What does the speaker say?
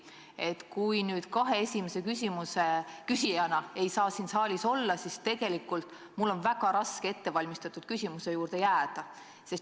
Kui ei saa siin saalis olla kahe esimese küsimuse küsija, siis on tegelikult väga raske ettevalmistatud küsimuse juurde jääda.